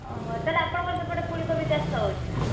ଓହୋ ତାହେଲେ ଆପଣଙ୍କ ସେପଟେ ଫୁଲକୋବି ଚାଷ ହଉଛି ନା?